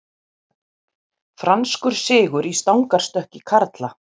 Franskur sigur í stangarstökki karla